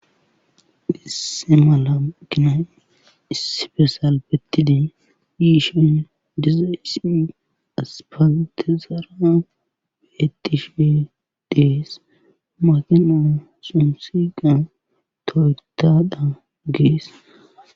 Dhisse mala makina ispesal bettidi yiishan dizayssi aspantizara beettishe dees makina sunsiqan toytadha gees.